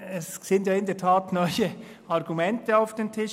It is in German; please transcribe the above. Es kamen in der Tat neue Argumente auf den Tisch.